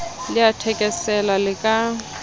le a thekesela le ka